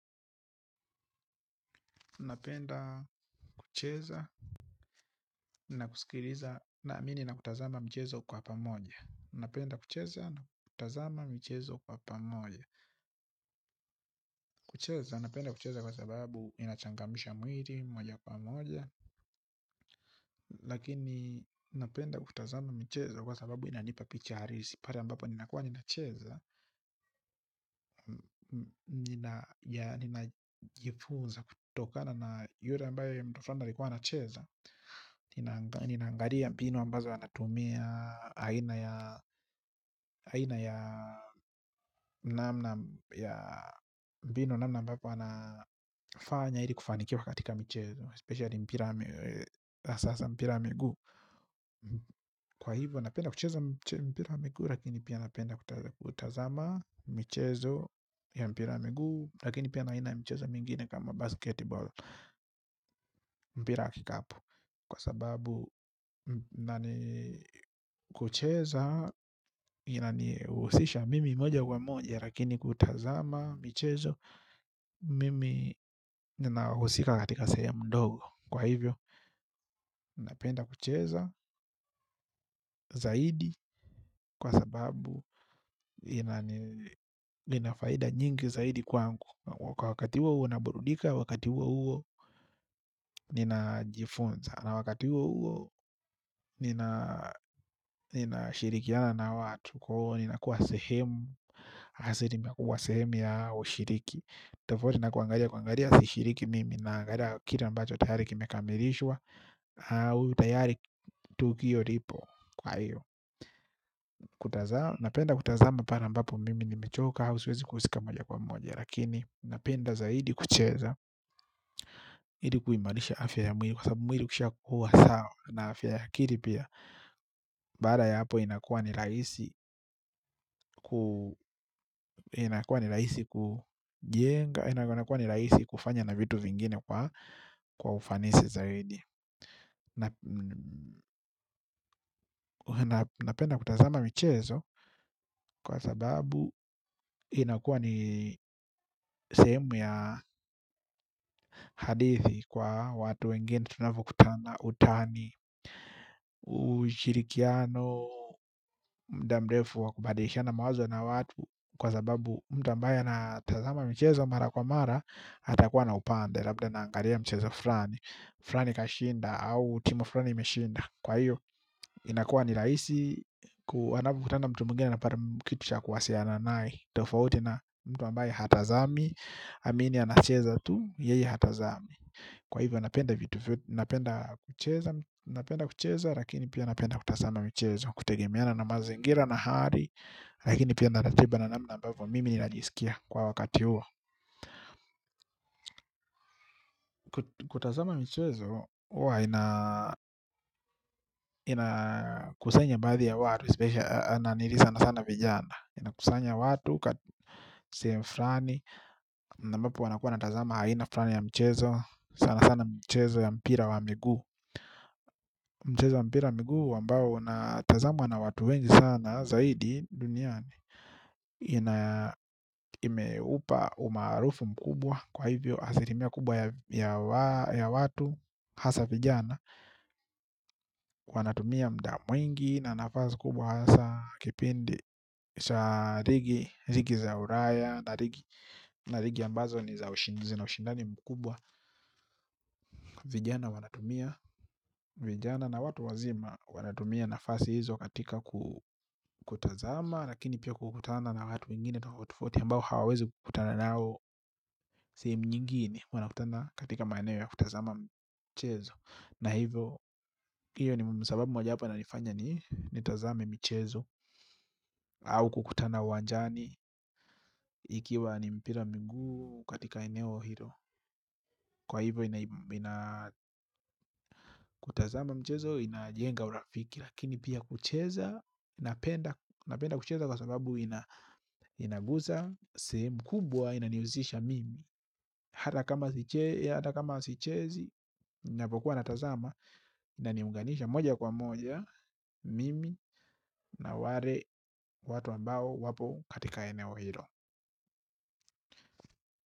Napenda kucheza na kusikiliza naamini na kutazama mchezo kwa pamoja. Napenda kucheza na kutazama michezo kwa pamoja. Kucheza napenda kucheza kwa sababu inachangamsha mwili moja kwa moja. Lakini napenda kutazama michezo kwa sababu inanipa picha halisi. Pale ambapo ninakuwa ninacheza ninaja ninajifunza kutokana na yule ambaye mtu flani alikuwa anacheza. Nina ninaangalia mbinu ambazo anatumia aina ya aina ya namna ya mbinu namna ambapo anafanya ili kufanikiwa. Katika michezo especially mpira wa sasa mpira wa miguu. Kwa hivo napenda kucheza. Mpira wa miguu lakini pia napenda kutazama michezo ya mpira wa miguu lakini pia na aina michezo mingine kama basketball. Mpira wa kikapu. Kwa sababu na ni kucheza inanihusisha mimi moja kwa moja lakini kutazama, michezo mimi ninahusika katika sehemu ndogo kwa hivyo, ninapenda kucheza zaidi kwa sababu inani ina faida nyingi zaidi kwangu kwa wakati huo huo naburudika wakati huo huo ninajifunza na wakati huo huo nina ninashirikiana na watu kwaiyo ninakuwa sehemu asilimia kubwa sehemu ya ushiriki tofauti na kuangalia kuangalia sishiriki mimi naangalia kile ambacho tayari kimekamilishwa au tayari tukio ripo kwaiyo kutazama napenda kutazama pale ambapo mimi nimechoka au siwezi kuhusika moja kwa moja lakini ninapenda zaidi kucheza ili kuimarisha afya ya mwili kwa sababu mwili ukishakuwa sawa na afya ya akili pia baada ya hapo inakuwa ni rahisi. Inakuwa ni rahisi kujenga. Inakua ni rahisi kufanya na vitu vingine kwa kwa ufanisi zaidi na napenda kutazama michezo. Kwa sababu inakuwa ni sehemu ya hadithi kwa watu wengine tunavyokutana utani. Ushirikiano, muda mrefu wa kubadilishana mawazo na watu. Kwa sababu mtu ambaye anatazama michezo mara kwa mara atakuwa na upande, labda anaangalia mchezo flani flani kashinda au timu flani imeshinda. Kwaiyo, inakuwa ni rahisi ku ukikutana na mtu mwingine anapata kitu cha kuwasiliana nae. Tofauti na mtu ambaye hatazami amini anacheza tu, yeye hatazami. Kwa hivyo, anapenda vitu. Napenda kucheza. Napenda kucheza, lakini pia napenda kutazama michezo. Kutegemeana na mazingira na hali lakini pia na ratiba na namna ambavyo mimi ninajisikia kwa wakati huo. Kutazama michezo, huwa ina ina kusanya baadhi ya watu especially nanilii sana sana vijana. Inakusanya watu, kati sehemu flani na ambapo wanakuwa wanatazama aina flani ya mchezo. Sana sana mchezo ya mpira wa miguu. Mchezo wa mpira wa miguu ambao unatazamwa na watu wengi sana. Zaidi duniani ina imeupa umaarufu mkubwa. Kwa hivyo asilimia kubwa ya wa watu hasa vijana wanatumia muda mwingi na nafasi kubwa hasa kipindi cha ligi ligi za ulaya na ligi ambazo ni za ushi zina ushindani mkubwa vijana wanatumia vijana na watu wazima wanatumia nafasi hizo katika kutazama lakini pia kukutana na watu wengine tofauti tofauti ambao hawawezi kukutana nao sehemu nyingine wanakutana katika maeneo ya kutazama mchezo na hivyo iyo ni sababu moja wapo inanifanya nitazame michezo. Au kukutana uwanjani ikiwa ni mpira wa miguu katika eneo hilo. Kwa hivyo ina ina mchezo inajenga urafiki. Lakini pia kucheza napenda napenda kucheza kwa sababu ina inagusa. Sehemu kubwa inanihusisha mimi. Hata kama sichezi ninapokuwa natazama inaniunganisha moja kwa moja mimi na ware watu ambao wapo katika eneo hilo.